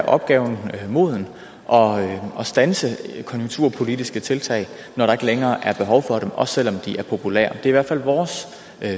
opgaven moden og og standse konjunkturpolitiske tiltag når der ikke længere er behov for dem også selv om de er populære det i hvert fald vores